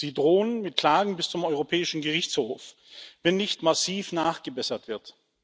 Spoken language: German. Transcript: Sie drohen mit Klagen bis zum Europäischen Gerichtshof, wenn nicht massiv nachgebessert wird.